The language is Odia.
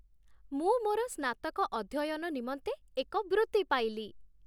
ମୁଁ ମୋର ସ୍ନାତକ ଅଧ୍ୟୟନ ନିମନ୍ତେ ଏକ ବୃତ୍ତି ପାଇଲି।